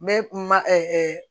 N bɛ ma ɛ